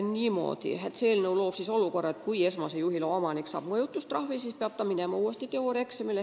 Uus seadus aga loob olukorra, et kui esmase juhiloa omanik saab mõjutustrahvi, siis peab ta minema uuesti teooriaeksamile.